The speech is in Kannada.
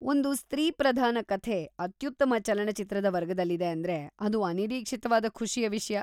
ಒಂದು ಸ್ತ್ರೀ-ಪ್ರಧಾನ ಕಥೆ ಅತ್ಯುತ್ತಮ ಚಲನಚಿತ್ರದ ವರ್ಗದಲ್ಲಿದೆ ಅಂದ್ರೆ ಅದು ಅನಿರೀಕ್ಷಿತವಾದ ಖುಷಿಯ ವಿಷ್ಯ.